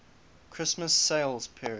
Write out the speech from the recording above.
christmas sales period